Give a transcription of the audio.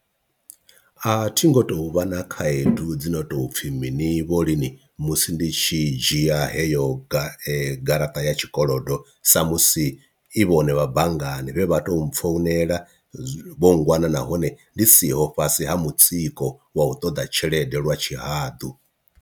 A thi ngo tou vha na khaedu dzi no tou pfhi mini vho lini musi ndi tshi dzhia heyo gai garaṱa ya tshikolodo sa musi i vhone vha banngani vhe vha tou mpfonela vho ngwana nahone ndi siho fhasi ha mutsiko wa u ṱoḓa tshelede lwa tshihaḓu.